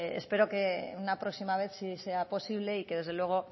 espero que una próxima vez sí sea posible y que desde luego